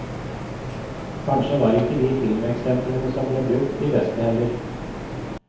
Kanskje var ikke de filmeksemplene som ble brukt de beste heller.